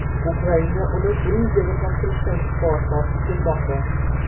Ukraina uni Gruziyaga topshirishdan bosh tortib kelmoqda.